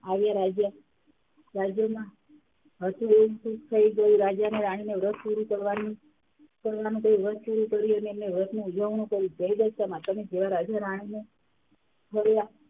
આવ્યા. રાજા, રાજામાં થઈ ગયું રાજા -રાણી ને વ્રત પૂરું કરવાની કરવાનું કહ્યું વ્રત સરું કરી અને એમને વ્રતનું ઉજ્વણું કર્યું જય દશામાં તમે ત્યાં રાજા -રાણીને